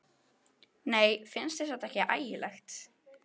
Nei, finnst þér þetta ekki ægilegt?